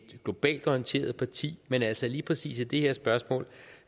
globalt orienteret parti men altså i lige præcis det her spørgsmål